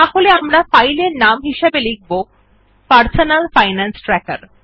তাহলে আমরা ফাইল এর নাম হিসাবে লিখব পারসোনাল ফাইনান্স ট্র্যাকের